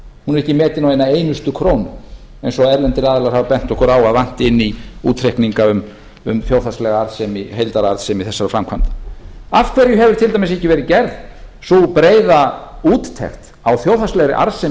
er ekki metin á eina einustu krónu eins og erlendir aðilar hafa bent okkur á að vanti inn í útreikninga um þjóðhagslega heildararðsemi þessara framkvæmda af hverju hefur til dæmis ekki verið gerð sú breiða úttekt á þjóðhagslegri arðsemi